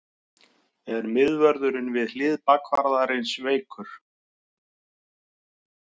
Er miðvörðurinn við hlið bakvarðarins veikur?